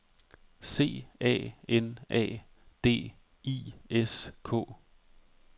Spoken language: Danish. C A N A D I S K